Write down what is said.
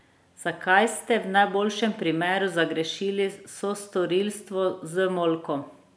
Zakaj ste, v najboljšem primeru, zagrešili sostorilstvo z molkom?